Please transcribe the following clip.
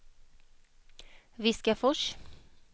Viskafors